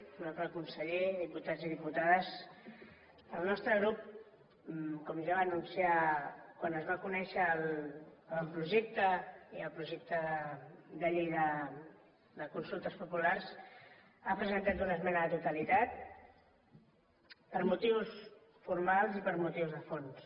honorable conseller diputats i diputades el nostre grup com ja va anunciar quan es va conèixer l’avantprojecte i el projecte de llei de consultes populars ha presentat una esmena a la totalitat per motius formals i per motius de fons